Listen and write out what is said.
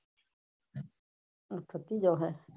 અચ્છા તું જાવ હે